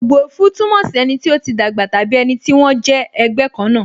Ogbuefi túmọ̀ sí ẹni tí ó ti dàgbà tàbí ẹni tí wón jẹ́ ẹgbẹ́ kan náà